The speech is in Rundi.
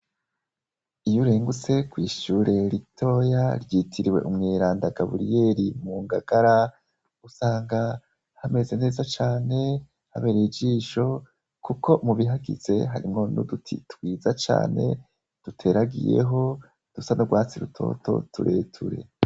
Iyo urengutse kw'ishure ritoya ryitiriwe "umweranda Gaburiyeri" mu Ngagara, usanga hameze neza cane, habereye ijisho kuko mubihagize harimwo n'uduti twiza cane duteragiyeho dusa n'urwatsi rutoto tureture.